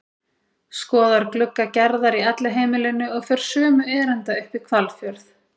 Skoðar glugga Gerðar í Elliheimilinu og fer sömu erinda upp í Hvalfjörð.